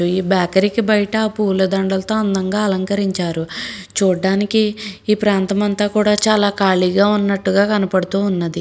రు ఈ బేకరీ కి బయట పూలదండలతో అందంగా అలంకరించారు చూడడానికి ఈ ప్రాంతమంతా కూడా చాలా ఖాళీగా ఉన్నట్టుగా కనపడుతూ ఉన్నది.